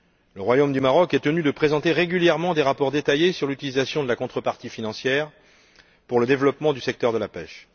Le Royaume du Maroc est tenu de présenter régulièrement des rapports détaillés sur l'utilisation de la contrepartie financière pour le développement du secteur de la pêche.